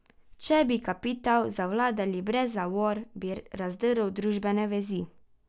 Če bi kapital zavladal brez zavor, bi razdrl družbene vezi.